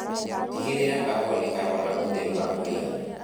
Tigĩrĩra kahũa nĩkarona ũtheri wa kũigana.